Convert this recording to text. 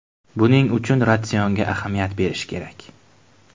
Buning uchun ratsionga ahamiyat berish kerak.